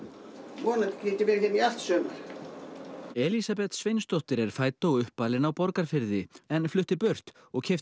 vonandi get ég verið hér í allt sumar Elísabet Sveinsdóttir er fædd og uppalin á Borgarfirði en flutti burt og keypti